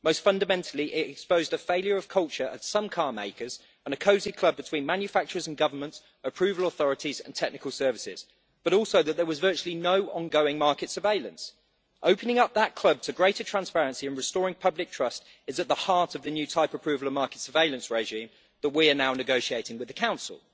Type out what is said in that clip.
Most fundamentally, it exposed a failure of culture at some carmakers, and a cosy club between manufacturers and governments' approval authorities and technical services, but also that there was virtually no ongoing market surveillance. Opening up that club to greater transparency and restoring public trust is at the heart of the new type approval and market surveillance regime that we are now negotiating with the Council.